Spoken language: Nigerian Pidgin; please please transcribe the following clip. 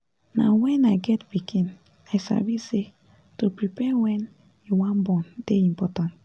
na wen i get pikin i sabi say to prepare wen you wan born dey important